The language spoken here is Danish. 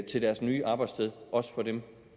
til deres nye arbejdssted også dem